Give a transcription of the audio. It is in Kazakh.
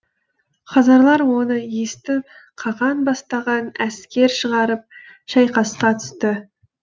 хазарлар оны естіп қаған бастаған әскер шығарып шайқасқа түсті